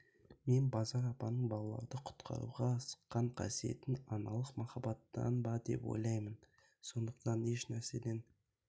мен базар апаның балалрды құтқаруға сыққан қасиетін аналық махаббаттан ба деп ойлаймын сондықтан еш нәрседен